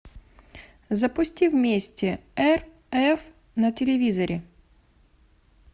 запусти вместе рф на телевизоре